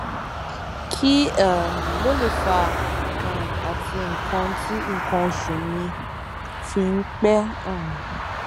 kí um ló lè fà um á tí nǹkan tí nǹkan oṣù mi fi ń pẹ um